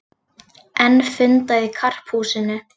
Enn fundað í Karphúsinu